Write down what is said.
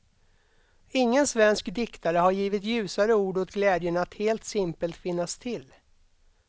Ingen svensk diktare har givit ljusare ord åt glädjen att helt simpelt finnas till.